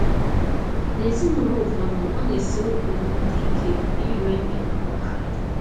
N’ezinụlọ ụfọdụ, ọ na - esiri ụfọdụ ndị ike ịrịọ ibe ha mgbaghara.